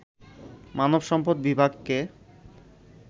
মানব সম্পদ বিভাগকে